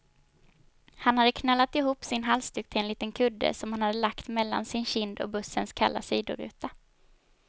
Hon hade knölat ihop sin halsduk till en liten kudde, som hon hade lagt mellan sin kind och bussens kalla sidoruta.